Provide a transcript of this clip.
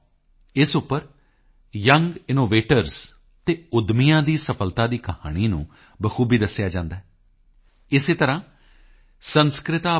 com ਇਸ ਉੱਪਰ young innovators ਅਤੇ ਉੱਦਮੀਆਂ ਦੀ ਸਫਲਤਾ ਦੀ ਕਹਾਣੀ ਨੂੰ ਬਾਖੂਬੀ ਦੱਸਿਆ ਜਾਂਦਾ ਹੈ ਇਸੇ ਤਰ੍ਹਾਂ samskritabharti